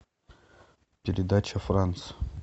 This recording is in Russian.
передача франс